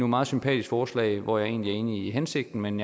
meget sympatisk forslag hvor jeg egentlig er enig i hensigten men